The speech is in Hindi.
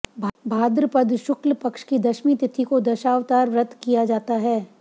भाद्रपद शुक्ल पक्ष की दशमी तिथि को दशावतार व्रत किया जाता है